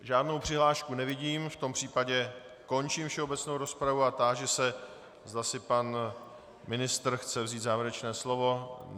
Žádnou přihlášku nevidím, v tom případě končím všeobecnou rozpravu a táži se, zda si pan ministr chce vzít závěrečné slovo.